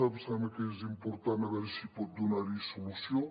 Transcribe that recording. em sembla que és important a veure si pot donar hi solució